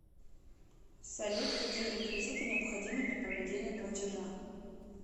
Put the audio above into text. салют какие реквизиты необходимы для проведения платежа